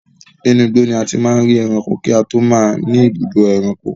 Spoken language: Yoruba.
Inú igbó ni a ti máa ń ri ẹranko kí a tó máa ní ibùdó ẹranko.